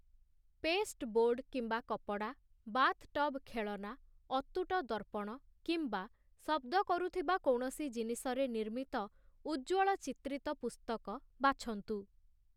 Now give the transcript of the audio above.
Pasteboard କିମ୍ବା କପଡ଼ା, bathtub ଖେଳନା, ଅତୁଟ ଦର୍ପଣ, କିମ୍ବା ଶବ୍ଦ କରୁଥିବା କୌଣସି ଜିନିଷରେ ନିର୍ମିତ ଉଜ୍ଜ୍ୱଳ ଚିତ୍ରିତ ପୁସ୍ତକ ବାଛନ୍ତୁ ।